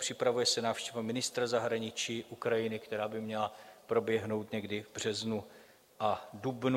Připravuje se návštěva ministra zahraničí Ukrajiny, která by měla proběhnout někdy v březnu a dubnu.